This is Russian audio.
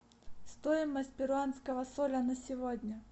стоимость перуанского соля на сегодня